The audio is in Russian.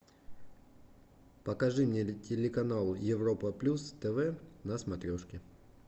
покажи мне телеканал европа плюс тв на смотрешке